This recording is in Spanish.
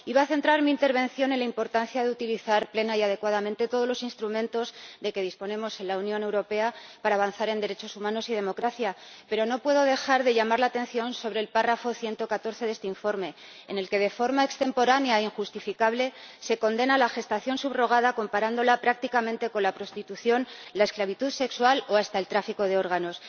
Iba a centrar mi intervención en la importancia de utilizar plena y adecuadamente todos los instrumentos de que disponemos en la Unión Europea para avanzar en derechos humanos y democracia, pero no puedo dejar de llamar la atención sobre el apartado 114 de este informe, en el que, de forma extemporánea e injustificable, se condena la gestación subrogada comparándola prácticamente con la prostitución, la esclavitud sexual o hasta el tráfico de órganos.